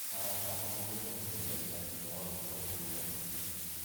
Arata akwa magĩũka kujerera thutha wa mbura kũura